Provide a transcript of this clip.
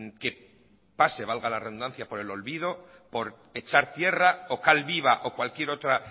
que pase valga la redundancia por el olvido por echar tierra o cal viva o cualquier otra